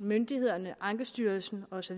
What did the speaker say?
myndighederne ankestyrelsen osv